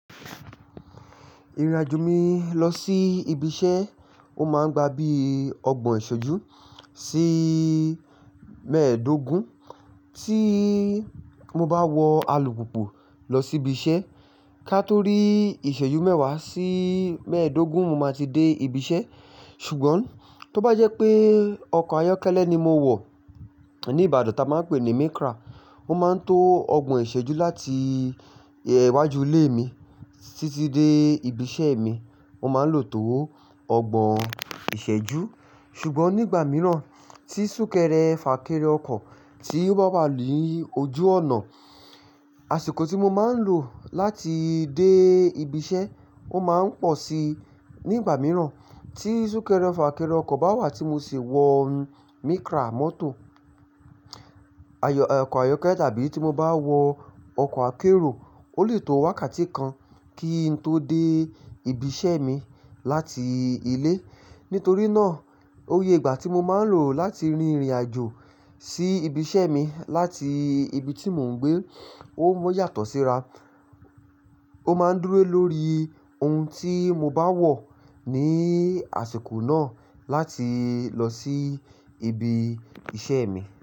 Ìrìnàjò mi lọ sí ibi iṣẹ́, ó máa ń gba bíi ọgbọ̀n ìṣẹ́jú sí mẹ́ẹ̀ẹ́dógún. Tí mo bá wọ alùpùpù lọ sí ibi iṣẹ́, ká tó rí ìṣẹ́jú mẹ́wàá sí mẹ́ẹ̀ẹ́dógún, mo máa ti dé ibi iṣẹ́. Ṣùgbọ́n tó bá jẹ́ pé ọkọ̀ ayọ́kẹ́lẹ́ ni mo wọ̀, ní Ìbàdàn tí a máa ń pè ní Micra, ó máa ń tó ọgbọ̀n ìṣẹ́jú láti iwájú ilé mi títí dé ibi iṣẹ́ mi. Ó máa ń lò ó tó ọgbọ̀n ìṣẹ́jú. Ṣùgbọ́n nígbà mìíràn tí súnkẹrẹ fà kéré ọkọ̀ tí ó bá wà ni ójú ọ̀nà, àsìkò tí mo máa ń lò láti dé ibi iṣẹ́ ó máa ń pọ̀ sí nígbà mìíràn tí súnkẹrẹ fà kéré ọkọ̀ bá wà tí mo sì wọ Micra mọ́tò, ayọ̀, ọkọ̀ ayọ́kẹ́lẹ́ tàbí tí mo bá wọ ọkọ̀ akérò, ó lè tó wákàtí kan kí n tó dé ibi iṣẹ́ mi láti ilé. Nítorí náà, oye ìgbà tí mo máa ń lò láti rin ìrìnàjò sí ibi iṣẹ́ mi láti ibi tí mò ń gbé ó yàtọ̀ síra. Ó máa ń dúró lórí ohun tí mo bá wọ̀ ní àsìkò náà láti lọ sí ibi iṣẹ́ mi.